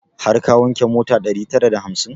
Har ka wanke mota ɗari tara da hamsin?